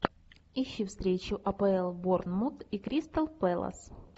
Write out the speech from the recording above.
ищи встречу апл борнмут и кристал пэлас